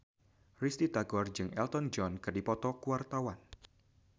Risty Tagor jeung Elton John keur dipoto ku wartawan